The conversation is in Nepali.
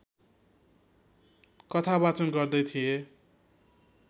कथावाचन गर्दै थिए